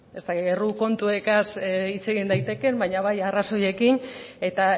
ez dakit erru kontuekaz hitz egin daitekeen baina bai arrazoiekin eta